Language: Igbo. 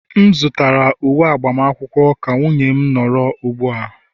M zụtara uwe agbamakwụkwọ ka nwunye m nọrọ ugbua